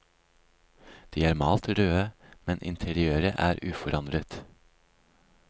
De er malt røde, men interiøret er uforandret.